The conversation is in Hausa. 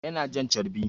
Yana jan carbi